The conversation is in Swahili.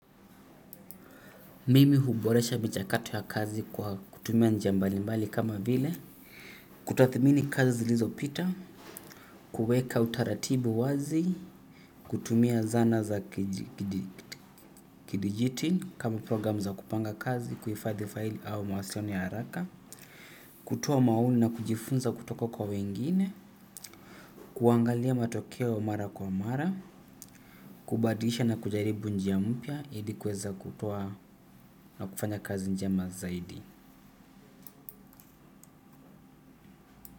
Mimi huboresha michakato ya kazi kwa kutuma njia mbali mbali kama vile. Kutathmini kazi zilizo pita. Kuweka utaratibu wazi. Kutumia zana za kidijiti kama program za kupanga kazi, kuhifadhi faili au mawasiliano ya haraka. Kutoa maoni na kujifunza kutoka kwa wengine. Kuangalia matokea wa mara kwa mara. Kubadilisha na kujaribu njia mpya. Hili kuweza kutoa na kufanya kazi njema zaidi.